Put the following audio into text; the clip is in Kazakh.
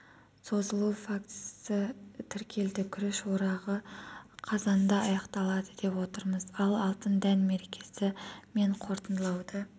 созылу фактісі тіркелді күріш орағы қазанда аяқталады деп отырмыз ал алтын дән мерекесі мен қортындылауды